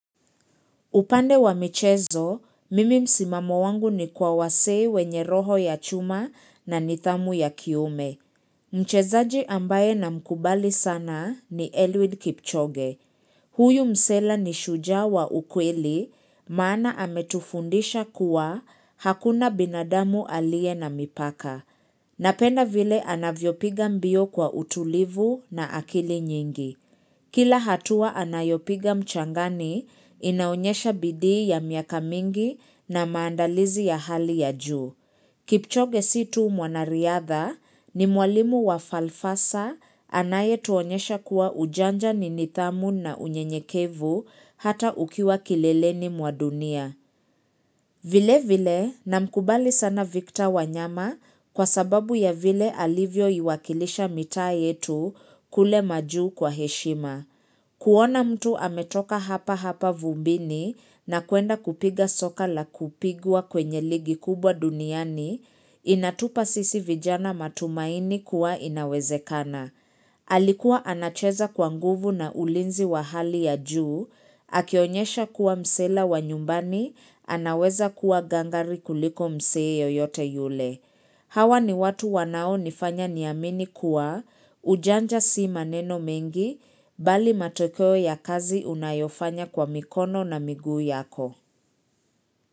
Upande wa michezo, mimi msimamo wangu ni kwa wasee wenye roho ya chuma na nithamu ya kiume. Mchezaji ambaye na mkubali sana ni Eliud Kipchoge. Huyu msela ni shujaa wa ukweli, maana ametufundisha kuwa hakuna binadamu alie na mipaka. Napenda vile anavyopiga mbio kwa utulivu na akili nyingi. Kila hatua anayopiga mchangani inaonyesha bidii ya miaka mingi na maandalizi ya hali ya juu. Kipchoge situu mwanariadha ni mwalimu wa falfasa anaye tuonyesha kuwa ujanja ninithamu na unyenyekevu hata ukiwa kileleni mwa dunia. Vile vile na mkubali sana Victor wanyama kwa sababu ya vile alivyo iwakilisha mitaa yetu kule majuu kwa heshima. Kuona mtu ametoka hapa hapa vumbini na kuenda kupiga soka la kupigwa kwenye ligi kubwa duniani, inatupa sisi vijana matumaini kuwa inawezekana. Alikuwa anacheza kwa nguvu na ulinzi wa hali ya juu, akionyesha kuwa msela wa nyumbani, anaweza kuwa gangari kuliko msee yoyote yule. Hawa ni watu wanao nifanya niamini kuwa ujanja si maneno mengi, bali matokeo ya kazi unayofanya kwa mikono na miguu yako.